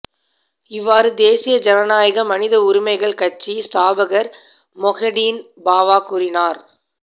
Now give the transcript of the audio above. இவ்வாறு தேசிய ஜனநாயக மனித உரிமைகள் கட்சிஇஸ்தாபகர் மொஹிடீன் பாவா கூறினார்